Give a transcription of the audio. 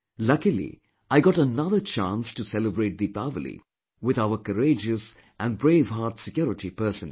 Luckily I got another chance to celebrate Deepawali with our courageous and brave heart security personnel